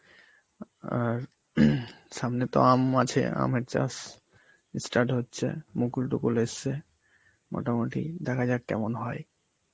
আর সামনে তো আম আছে, আমের চাষ ই start হচ্ছে, মুকুল তুকুল এসেছে, মোটামুটি দেখা যাক কেমন হয়.